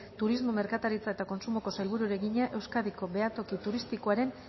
turismo merkataritza eta kontsumoko sailburuari egina euskadiko behatoki turistikoaren